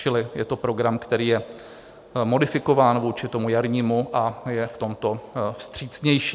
Čili je to program, který je modifikován vůči tomu jarnímu a je v tomto vstřícnější.